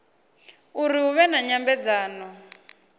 uri hu vhe na nyambedzano